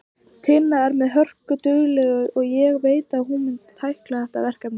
Tinna er hörkudugleg og ég veit að hún mun tækla þetta verkefni.